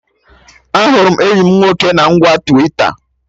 Ahụrụ m enyi mụ nwoke na ngwa Twita